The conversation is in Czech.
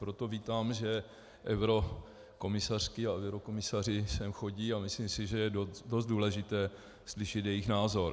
Proto vítám, že eurokomisařky a eurokomisaři sem chodí, a myslím si, že je dost důležité slyšet jejich názor.